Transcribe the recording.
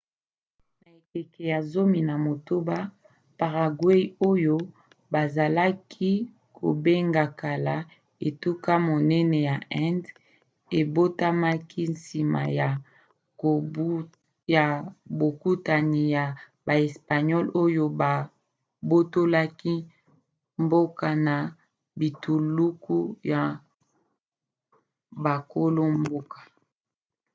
na ekeke ya 16 paraguay oyo bazalaki kobenga kala etuka monene ya indes ebotamaki nsima ya bokutani ya baespagnole oyo babotolaki mboka na bituluku ya bakolo-mboka